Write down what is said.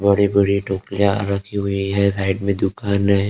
बड़ी बड़ी टोपिया रखी हुई है साइड में दुकान है।